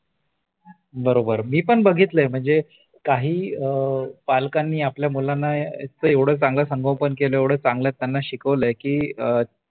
बरोबर मी पण बघितलयं म्हणजे काही पालकांनी आपल्या मुलांना इतक एवढ चांगल संगोपन केल इतक एवढ चांगल त्यांना शिकवलय की अ